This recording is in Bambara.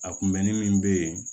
A kunbɛnni min bɛ yen